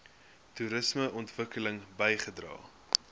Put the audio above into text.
toerisme ontwikkeling bygedra